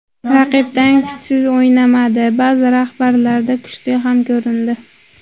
Raqibdan kuchsiz o‘ynamadi, ba’zi jabhalarda kuchli ham ko‘rindi.